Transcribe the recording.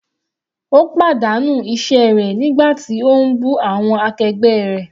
Ó pàdánù iṣẹ́ rẹ̀ nígbà tí ó ń bú awọn akẹgbẹ́ rẹ̀.